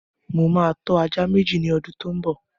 Mo ma tọ́ ajá Méjì ní ọdún tó ḿ bọ̀